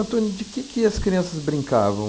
de quê que as crianças brincavam?